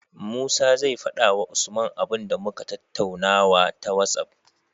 Musa zai fada wa usman abun da muka tattaunawa ta whatsapp